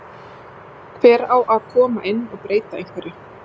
Hver á að koma inn og breyta einhverju?